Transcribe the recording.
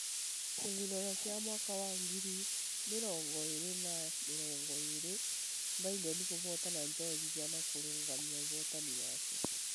Kithurano kia mwaka wa ngiri mirongo ĩĩrĩ na mĩrongo ĩĩrĩ:: Biden kũhootana Georgia na kũrũgamia ũhootani wake